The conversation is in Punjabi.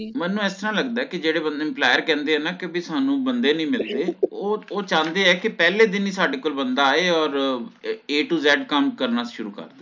ਮੈਨੂੰ ਇਸ ਤਰ੍ਹਾਂ ਲੱਗਦਾ ਕੇ ਜਿਹੜੇ ਬੰਦੇ ਨੂੰ employer ਕਹਿੰਦੇ ਹੈ ਨਾ ਕਿ ਬਈ ਸਾਨੂ ਬੰਦੇ ਨਹੀਂ ਮਿਲਦੇ ਓ ਓ ਚਾਹੰਦੇ ਆ ਕੇ ਪਹਿਲੇ ਦਿਨ ਹੀ ਸਾਡੇ ਕੋਲ ਬੰਦਾ ਆਏ or A to Z ਕੰਮ ਕਰਨਾ ਸ਼ੁਰੂ ਕੇ ਦੇਵੇ